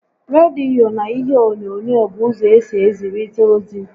Rediyo na ihe onyonyo bụ ụzọ esi ezirita ozi